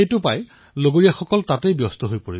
সকলোৰে ধ্যান এতিয়া সেই খেলাসামগ্ৰীটোতেই নিৱদ্ধ হল